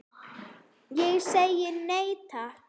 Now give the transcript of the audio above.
Ég segi nei, takk.